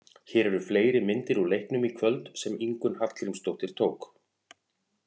Hér eru fleiri myndir úr leiknum í kvöld sem Ingunn Hallgrímsdóttir tók.